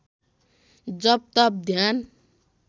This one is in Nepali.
जप तप ध्यान